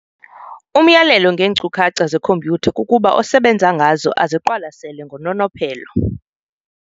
Umyalelo ngeeenkcukacha zekhompyutha kukuba osebenza ngazo aziqalasele ngononophelo.